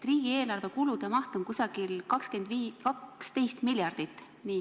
Riigieelarve kulude maht on umbes 12 miljardit.